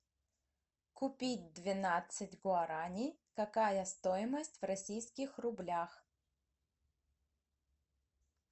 купить двенадцать гуарани какая стоимость в российских рублях